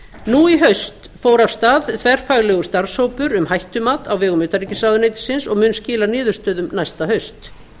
nú í haust fór af stað þverfaglegur starfshópur um hættumat á vegum utanríkisráðuneytisins og mun skila niðurstöðum næsta haust